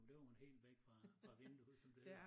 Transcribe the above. Men det var hun helt væk fra fra vinduet som det hedder